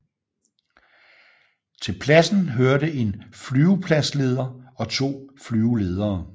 Til pladsen hørte en flyvepladsleder og to flyveledere